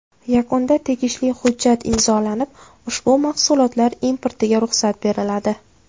Yakunda tegishli hujjat imzolanib, ushbu mahsulotlar importiga ruxsat beriladi.